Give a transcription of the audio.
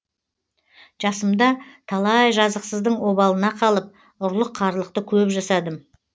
жасымда талай жазықсыздың обалына қалып ұрлық қарлықты көп жасадым